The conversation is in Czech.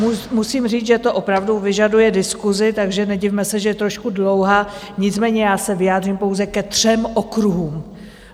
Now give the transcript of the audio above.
Musím říct, že to opravdu vyžaduje diskusi, takže nedivme se, že je trošku dlouhá, nicméně já se vyjádřím pouze ke třem okruhům.